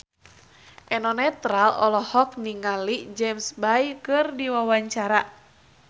Eno Netral olohok ningali James Bay keur diwawancara